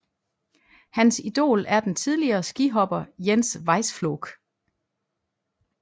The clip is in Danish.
Hans idol er den tidligere skihopper Jens Weißflog